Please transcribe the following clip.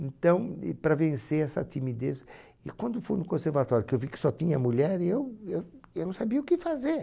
Então, e para vencer essa timidez... E quando eu fui no conservatório, que eu vi que só tinha mulher, eu eu não sabia o que fazer.